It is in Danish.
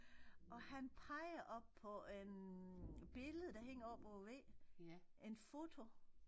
Og han peger op på en billede der hænger op over væggen en foto